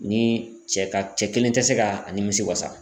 Ni cɛ ka cɛ kelen tɛ se ka a nimisi wasa.